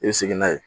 I bɛ segin n'a ye